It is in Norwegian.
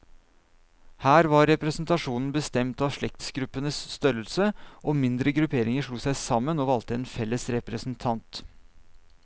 Her var representasjonen bestemt av slektsgruppenes størrelse, og mindre grupperinger slo seg sammen, og valgte en felles representant.